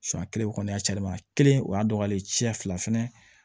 kelen o kɔni y'a cɛnni ma kelen o y'a dɔgɔyalen tiɲɛ fila fɛnɛ